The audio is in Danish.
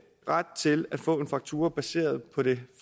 ret til at få en faktura baseret på det